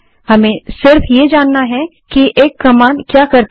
हमें सिर्फ ये जानना होता है कि कमांड क्या करती है